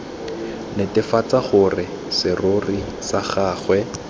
netefatsa gore serori sa gagwe